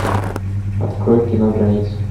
открой кино граница